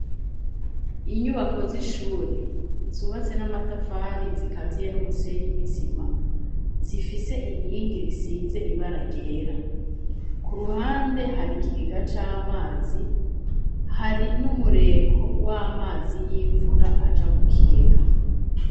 Inyubako z'ishure zubatse n'amatafari zikaziye n'umusenyi n'isima zifise inkingi risize ibaragera ku ruhande hari ikigega c'amazi hari n'umureko w'amazi y'imvura aja mu kigega.